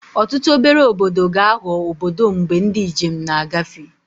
Ọtụtụ obere obodo ga-aghọ obodo mgbe ndị njem na-agafe